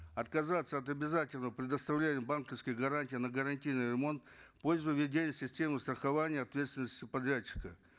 отказаться от обязательного предоставления банковских гарантий на гарантийный ремонт в пользу введения системы страхования ответственности субподрядчика